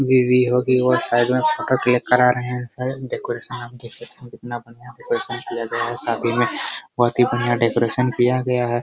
बीबी होगी वह साइड में फोटो क्लिक करा रहे है कितना बढ़िया डेकोरेशन किया गया है शादी में बहुत ही बढ़िया डेकोरेशन किया गया हैं ।